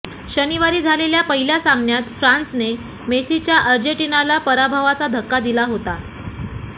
शनिवारी झालेल्या पहिल्या सामन्यात फ्रान्सने मेसीच्या अर्जेंटिनाला पराभवाचा धक्का दिला होता